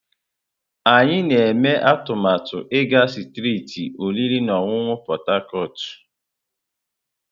Anyị na-eme atụmatụ ịga strịtị oriri na ọṅụṅụ Port Harcourt.